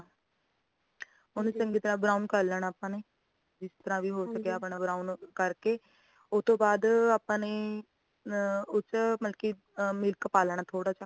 ਓਨੁ ਚੰਗੀ ਤਰਾਂ brown ਕਰ ਲੇਨਾ ਆਪਾ ਨੇ ਜਿਸ ਤਰਾਂ ਵੀ ਹੋ ਸਕੀਆਂ brown ਕਰਕੇ ਉਤੋਂ ਬਾਧ ਆਪਣੇ ਅਹ ਉਸ ਵਿੱਚ ਮਤਲਬ ਕੀ milk ਪਾ ਲੈਣਾਂ ਥੋੜਾ ਜਾ